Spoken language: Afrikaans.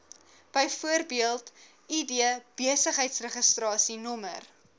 bv id besigheidsregistrasienommer